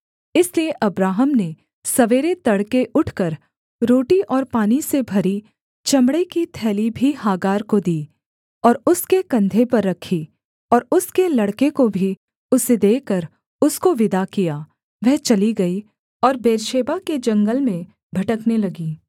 इसलिए अब्राहम ने सवेरे तड़के उठकर रोटी और पानी से भरी चमड़े की थैली भी हागार को दी और उसके कंधे पर रखी और उसके लड़के को भी उसे देकर उसको विदा किया वह चली गई और बेर्शेबा के जंगल में भटकने लगी